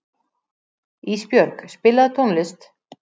Ísbjörg, spilaðu tónlist.